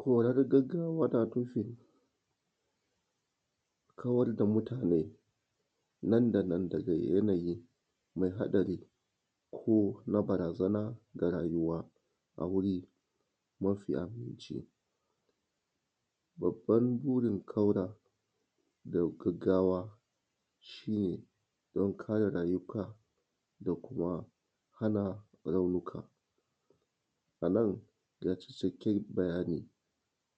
Kora ta gaggawa tana nufin kawar da mutane nan da nan daga yanayi mai haɗari ko na barazana da rayuwa a wuri mafi aminci. Babban burin kauda da gaggawa shi ne don kare rayuka da kuma hana raunuka a nan ya cancanci in yi bayani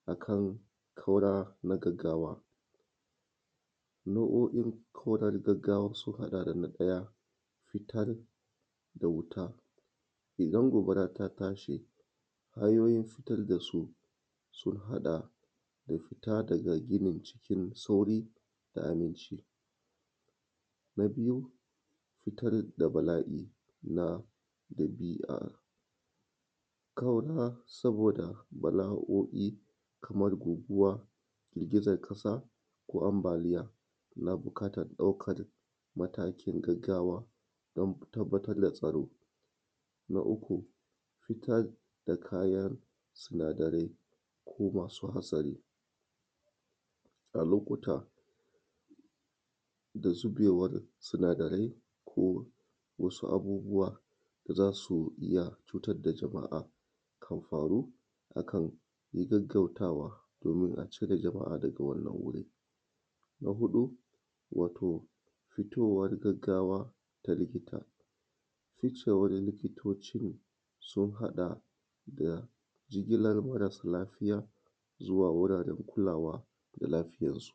akan kau da na gaggawa nau’o’in kau da na gaggawa sun haɗa da na ɗaya fitar da wuta idan gobara ta tashi. Hanyoyin fitar da su da fita daga ginin cikin sauri da aminci na biyu fitar da bala’i na ɗabi’a kauda saboda kamar goguguwa girgizan ƙasa ko ambaliya, ana buƙatar daukan matakin na gaggawa don tabbatar da tsaro, na uku fitar da kayan sinadarai ko masu hatsari a lokuta da zubewar sinadarai ko wasu abubuwa da za su iya cutar da jama’a. Idan hakan ya faru akan gaggawan kau da domin a cire jama’a daga wannan wuri, na hudu wato fitowar gaggawa ta likita, fitowar likitocin sun haɗa da jigilar mara sa lafiya zuwa wuraren kulawa da lafiyansu.